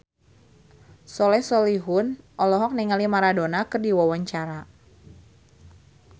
Soleh Solihun olohok ningali Maradona keur diwawancara